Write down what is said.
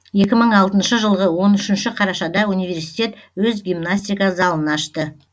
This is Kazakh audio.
екі мың алтыншы жылғы он үшінші қарашада университет өз гимнастика залын ашты